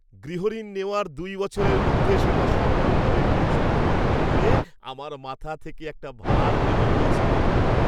গৃহঋণ নেওয়ার দু'বছরের মধ্যে সেটা সফলভাবে পরিশোধ করে দিতে পেরে আমার মাথা থেকে একটা ভার নেমে গিয়েছিল।